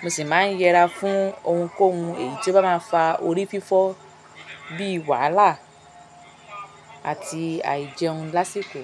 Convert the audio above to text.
mo sì máa ń yẹra fún ohunkóhun èyí tó bá máa fa orí fífọ́ bíi wàhálà àti àìjẹun lásìkò.